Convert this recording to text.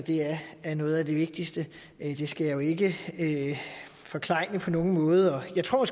er noget af det vigtigste det skal jeg jo ikke forklejne på nogen måde og jeg tror